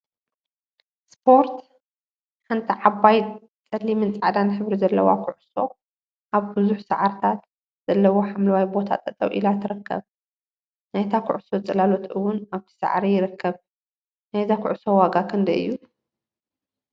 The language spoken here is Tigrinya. ስፖርት ሓንቲ ዓባይ ፀሊምን ፃዕዳን ሕብሪ ዘለዋ ኩዕሶ አብ ቡዙሕ ሳዕሪታት ዘለዎ ሓምለዋይ ቦታ ጠጠው ኢላ ትርከብ፡፡ ናይታ ኩዕሶ ፅላሎት እውን አብቲ ሳዕሪ ይርከብ፡፡ ናይዛ ኩዕሶ ዋጋ ክንደይ እዩ?